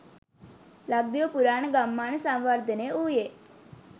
ලක්දිව පුරාණ ගම්මාන සංවර්ධනය වූයේ